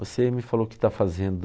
Você me falou que está fazendo...